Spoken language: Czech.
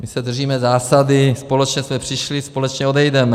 My se držíme zásady: společně jsme přišli, společně odejdeme.